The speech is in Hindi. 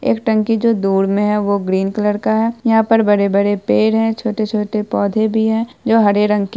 एक टंकी जो दूर में है वो ग्रीन कलर का है यहाँ पर बड़े-बड़े पेड़ है छोटे-छोटे पौध भी है जो हरे रंग के --